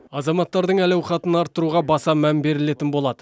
азаматтардың әл ауқатын арттыруға баса мән берілетін болады